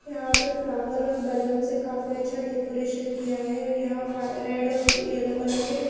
यहां पे फ्लावर और बलून से काफी अच्छा डेकोरेट किया है यहां वा रेड और येलो कलर के--